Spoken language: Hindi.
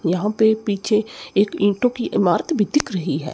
यहां पे पीछे एक ईंटों की इमारत भी दिख रही है।